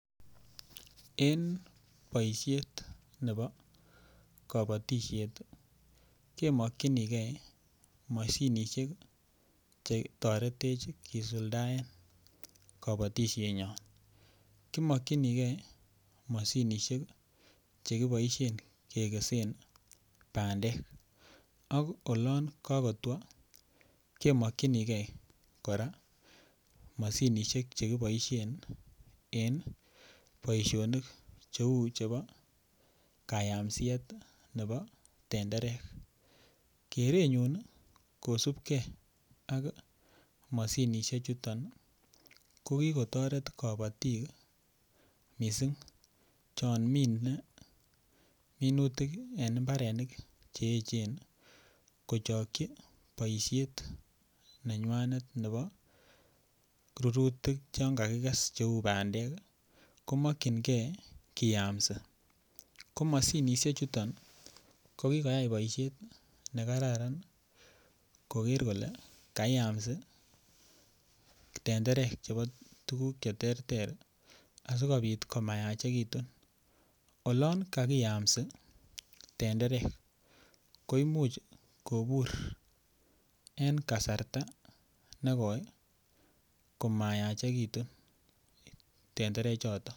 En boisiet nebo kobotisiet kemokyinige moshinishek chetoret kisuldaen kobotisienyon, kimokyinige moshinishek chekiboisien kekesen bandek ak olon kokotwo kemokyinige kora moshinishek chekiboisien en boisionik cheu chebo kayamsiet nebo tenderek, kerenyun kosipkee ak moshinisiechuton kokikotoret kobotik missing chon mine minutik en mbarenik che echen kochokyii boisiet nenywanet ne bo rurutik chan kakikes cheu bandek komokyingee kiyamsi ko moshinisiechuton ko kikoyai boisiet nekararan koker kole kaiyamsi tenderek chebo tuguk cheterter asikobit komayachekitu olon kakiyamsi tenderek ko imuch kobur en kasarta nekoi komayachekitu tenderechoto.